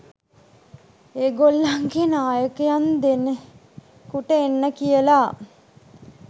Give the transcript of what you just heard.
ඒ ගොල්ලන්ගේ නායකයන්දෙනෙකුට එන්න කියලා